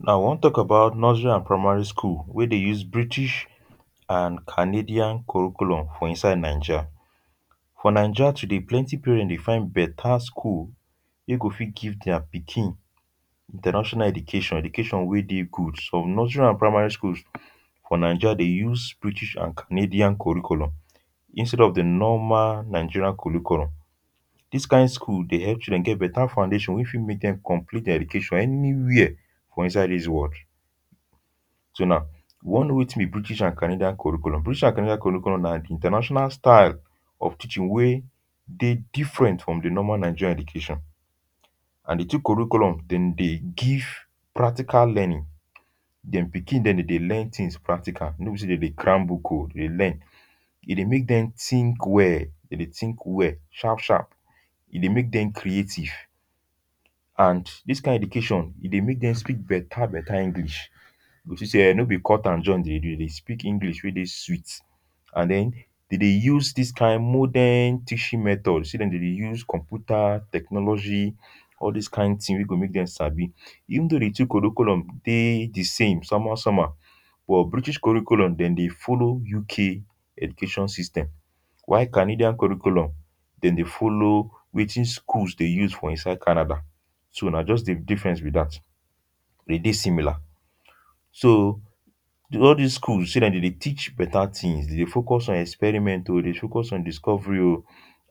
now I wan talk about nursery and primary school wey dey use british and canadian curriculum for inside Naija. for Naija today plenty parent dey fine better school wey go fit give their pikin international education, education wey dey good some nursery and primary schools for naija dey use british and canadian curriculum instead of the normal nigerian curriculum. this kain school dey help children get beta foundation wey fit make dem complete their education anywhere for inside this world. so now we wan know wetin be british and canadian curriculum. british and canadian curriculum na the international style of teaching wey dey different from the normal nigerian education and the two curriculum dem dey give practical learning, dem pikin dem dey dey learn things practical no be say dem dey cram book o. dem dey learn. e dey make dem think well dem dey think well sharp sharp. e dey make dem creative and this kain education e dey make dem speak beta beta english you go see say no be cut and join dem dey do. dem dey speak english wey dey sweet and then dem dey use this kind modern teaching method see dem dem dey use computer, technology all this kain thing wey go make dem sabi. even though the two curriculum dey the same some how some how but british curriculum dem dey follow UK education system while canadian curriculum dem dey follow wetin schools dey use for inside Canada. so na just the difference be that. dem dey similar. so the all this schools say dem dey teach beta things dem dey focus on experiment o, dey focus on discovery o